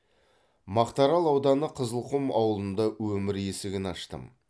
мақтаарал ауданы қызылқұм ауылында өмір есігін аштым